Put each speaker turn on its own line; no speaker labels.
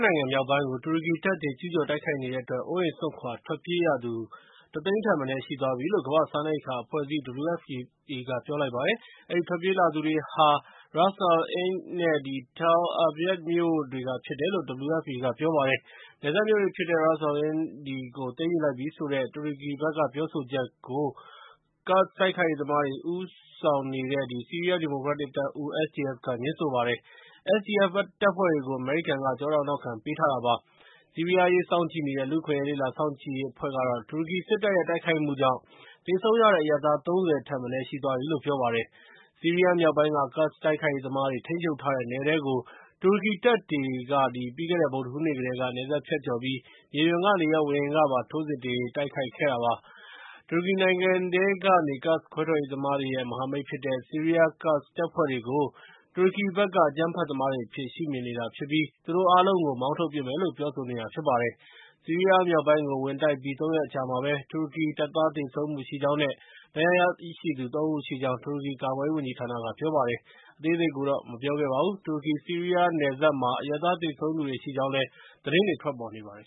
နိုင်ငံမြောက်ပိုင်းကို တူရကီတပ်တွေ ကျူးကျော်တိုက်ခိုက်နေတဲ့အတွက် အိုးအိမ်စွန့်ခွာ ထွက်ပြေးရသူ ၁ သိန်းထက်မနည်း ရှိသွားပြီလို့ ကမ္ဘာ့စားနပ်ရိက္ခာအဖွဲ့အစည်း (WFP) က ပြောပါတယ်။ အဲဒီ ထွက်ပြေးလာသူတွေဟာ Ras al-Ayn နဲ့ Tal Abyad မြို့တွေက ဖြစ်တယ်လို့ WFP က ပြောပါတယ်။ နယ်စပ်မြို့ဖြစ်တဲ့ Ras al-Ayn ကို သိမ်းယူလိုက်ပြီဆိုတဲ့ တူရကီဘက်က ပြောဆိုချက်ကို ကာ့ဒ်တိုက်ခိုက်ရေးသမားတွေ ဦးဆောင်နေတဲ့ ဆီးရီးယားဒီမိုကရက်တစ်တပ်ဦး (SDF) က ငြင်းဆိုပါတယ်။ SDF တပ်ဖွဲ့တွေကို အမေရိကန်က ကျောထောက်နောက်ခံပေးထားတာပါ။ ဆီးရီးယားအရေး စောင့်ကြည့်နေတဲ့ လူ့အခွင့်အရေး လေ့လာစောင့်ကြည့်ရေး အဖွဲ့ကတော့ တူရကီစစ်တပ်ရဲ့ တိုက်ခိုက်မှုကြောင့် သေဆုံးရတဲ့ အရပ်သား ၃၀ ထက်မနည်း ရှိသွားပြီလို့ ပြောပါတယ်။ ဆီးရီးယားမြောက်ပိုင်းက ကာ့ဒ်တိုက်ခိုက်ရေးသမားတွေ ထိန်းချုပ်ထားတဲ့နယ်ထဲကို တူရကီတပ်တွေက ပြီးခဲ့တဲ့ဗုဒ္ဓဟူးနေ့ကတည်းက နယ်စပ်ဖြတ်ကျော်ပြီး မြေပြင်ကနေရော ဝေဟင်ကပါ ထိုးစစ်ဆင် တိုက်ခိုက်နေတာပါ။ တူရကီနိုင်ငံထဲက ကာ့ဒ်ခွဲထွက်ရေးသမားတွေရဲ့ မဟာမိတ်ဖြစ်တဲ့ ဆီးရီးယား ကာ့ဒ်တပ်ဖွဲ့တွေကို တူရကီဘက်က အကြမ်းဖက်သမားတွေအဖြစ် ရှုမြင်နေတာဖြစ်ပြီး သူတို့အားလုံးကို မောင်းထုတ်ပစ်မယ်လု့ိ ပြောဆိုနေတာဖြစ်ပါတယ်။ ဆီးရီးယားမြောက်ပိုင်းကို ဝင်တိုက်ပြီး ၃ ရက်အကြာမှာပဲ တူရကီတပ်သား သေဆုံးမှုရှိကြောင်းနဲ့ ဒဏ်ရာရသူ ၃ ဦးရှိကြောင်း တူရကီကာကွယ်ရေး ဝန်ကြီးဌာနက ပြောပါတယ်။ အသေးစိတ်ကိုတော့ ပြောမသွားပါဘူး။ တူရကီ-ဆီးရီးယားနယ်စပ်မှာ အရပ်သား သေဆုံးသူရှိကြောင်း သတင်းတွေလည်း ထွက်ပေါ်နေပါတယ်